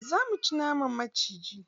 Za mu ci naman maciji.